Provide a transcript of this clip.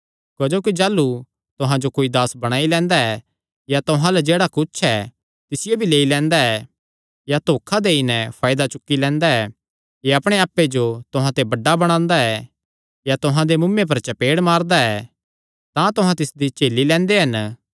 क्जोकि जाह़लू तुहां जो कोई दास बणाई लैंदा ऐ या तुहां अल्ल जेह्ड़ा कुच्छ ऐ तिसियो भी लेई लैंदा ऐ या धोखा देई नैं फायदा चुक्की लैंदा ऐ या अपणे आप्पे जो तुहां ते बड्डा बणांदा ऐ या तुहां दे मुँऐ पर चपेड़ मारदा ऐ तां तुहां तिसदी झेली लैंदे हन